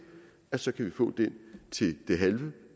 så kan vi få det til det halve